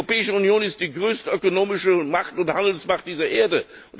Die Europäische Union ist die größte ökonomische Macht und Handelsmacht dieser Erde!